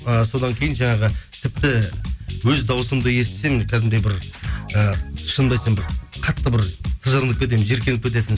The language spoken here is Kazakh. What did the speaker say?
ы содан кейін жаңағы тіпті өз дауысымды естісем кәдімгідей бір і шынымды айтсам бір қатты бір тыжырынып кетемін жиіркеніп кететін